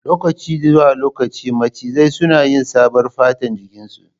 Lokaci zuwa lokaci macizai suna yi saɓar fatar jikin su